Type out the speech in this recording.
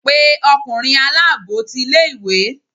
pe ọkunrin alabọ tí ìlé-ìwé!